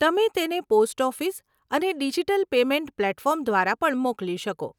તમે તેણે post office અને ડીજીટલ પેમેંટ પ્લેટફોર્મ દ્વારા પણ મોકલી શકો.